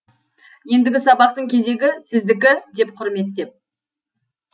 ендігі сабақтың кезегі сіздікі деп құрметтеп